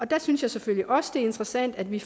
der synes jeg selvfølgelig også det er interessant at vi